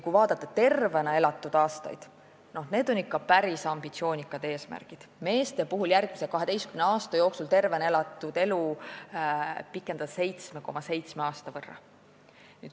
Kui vaadata tervena elatud aastaid, siis on eesmärk ikka päris ambitsioonikas: järgmise 12 aasta jooksul peaks meeste tervena elatud elu pikenema 7,7 aasta võrra.